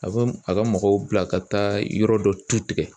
A bɛ a ka mɔgɔw bila ka taa yɔrɔ dɔ tu tigɛ